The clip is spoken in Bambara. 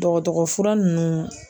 Dɔgɔtɔrɔ fura nunnu.